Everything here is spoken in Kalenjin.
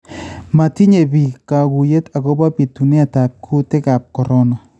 Matinye biik kaguyet akopo bituneetaab kutiikaab korona